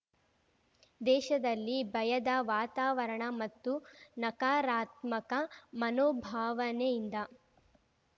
ದೇಶದಲ್ಲಿ ಭಯದ ವಾತಾವರಣ ಮತ್ತು ನಕಾರಾತ್ಮಕ ಮನೋಭಾವನೆಯಿಂದ